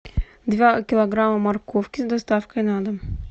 два килограмма морковки с доставкой на дом